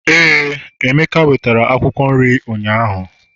éè, emeka wetere Akwụkwọ nri ụnyaahụ